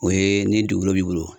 O ye ni dugukolo b'i bolo.